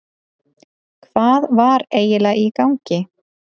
Hvað var eiginlega í gangi?